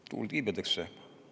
Tuul tiibadesse!